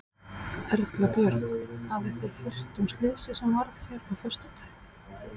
Erla Björg: Hafið þið heyrt um slysið sem varð hérna á föstudaginn?